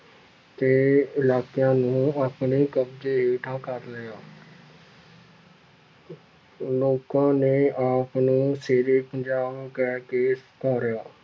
ਦੇ ਇਲਾਕਿਆਂ ਨੂੰ ਆਪਣੇ ਕਬਜ਼ੇ ਹੇਠਾਂ ਕਰ ਲਿਆ ਲੋਕਾਂ ਨੇ ਆਪ ਨੂੰ ਸ਼ੇਰ ਏ ਪੰਜਾਬ ਕਹਿਕੇ